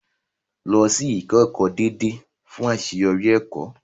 Lọ sí ìkẹ́kọ̀ọ́ déédéé fún àṣeyọrí ẹ̀kọ́.